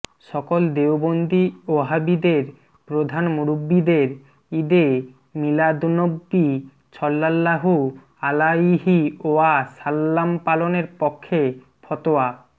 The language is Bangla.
সকল দেওবন্দী ওহাবীদের প্রধান মুরুব্বীদের ঈদে মীলাদুন্নবী ছল্লাল্লাহু আলাইহি ওয়া সাল্লামপালনের পক্ষে ফতোয়া